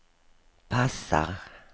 passar